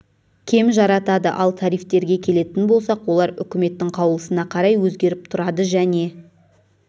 кем жаратады ал тарифтерге келетін болсақ олар үкіметтің қаулысына қарай өзгеріп тұрады және